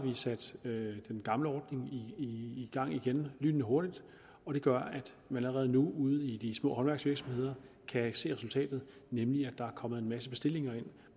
vi sat den gamle ordning i gang igen lynhurtigt og det gør at man allerede nu ude i de små håndværksvirksomheder kan se resultatet nemlig at der er kommet en masse bestillinger ind